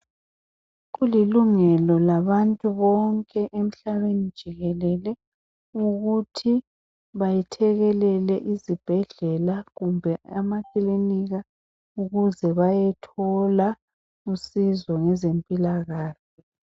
Kulilungelo labantu bonke emhlabeni jikelele ukuthi bayethekelele izibhedlela kumbe amakilinika ukuze bayethola usizo ngezempilakahle.